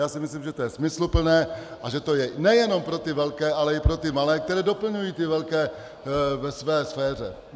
Já si myslím, že to je smysluplné a že to je nejenom pro ty velké, ale i pro ty malé, kteří doplňují ty velké ve své sféře.